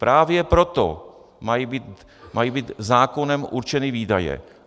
Právě proto mají být zákonem určeny výdaje.